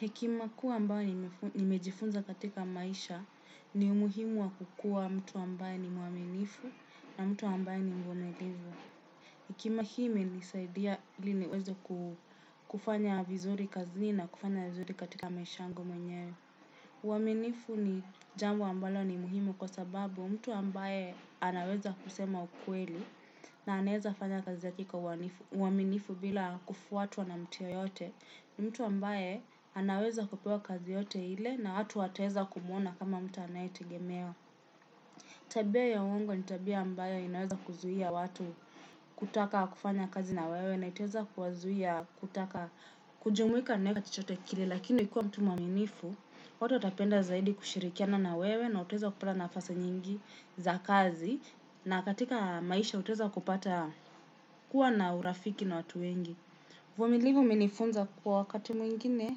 Hekima kuu ambayo nimejifunza katika maisha ni umuhimu wa kukua mtu ambae ni mwaminifu na mtu ambae ni mvumilivu. Hekima hii imenisaidia ili niweze kufanya vizuri kazini na kufanya vizuri katika maisha yangu mwenye. Uaminifu ni jambo ambalo ni muhimu kwa sababu mtu ambae anaweza kusema ukweli na anaweza fanya kazi hadi kwa uwaminifu bila kufuatwa na mtu yeyote. Mtu ambaye anaweza kupewa kazi yoyote ile na watu wataweza kumuona kama mtu anayetegemewa. Tabia ya uongo ni tabia ambayo inaweza kuzuia watu kutaka kufanya kazi na wewe na itaweza kuwazuia kutaka kujumuika nawe na chochote kile lakini ukiwa mtu mwaminifu. Watu watapenda zaidi kushirikiana na wewe na uaweza kupala nafasi nyingi za kazi. Na katika maisha utaweza kupata kuwa na urafiki na watu wengi uvumilivu umenifunza kua wakati mwingine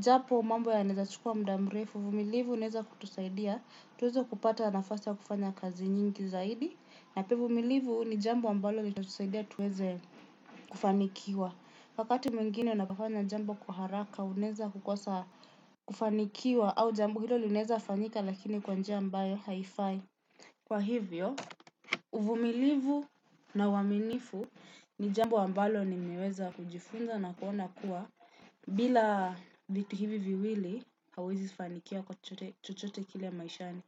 japo mambo yana weza chukua muda mrefu, uvumilivu unaweza kutusaidia, tuweze kupata nafasi ya kufanya kazi nyingi zaidi. Napia uvumilivu ni jambo ambalo li tatusaidia tuweze kufanikiwa. Wakati mwingine unafanya jambo kwa haraka, unaweza kukosa kufanikiwa au jambo hilo linaweza fanyika lakini kwa njia ambayo haifai. Kwa hivyo, uvumilivu na uaminifu ni jambo ambalo nimeweza kujifunza na kuona kuwa bila vitu hivi viwili hauwezi fanikiwa kwa chochote kile maishani.